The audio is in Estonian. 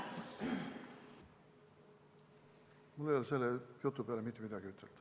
Mul ei ole selle jutu peale mitte midagi ütelda.